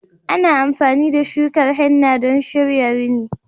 Ana amfani da shukar henna don shirya rini.